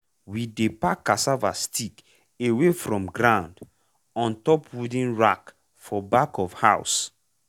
we dey pack cassava stick away from ground on top wooden rack for back of house.